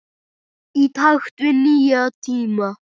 Í takt við nýja tíma.